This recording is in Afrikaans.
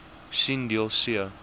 sien deel c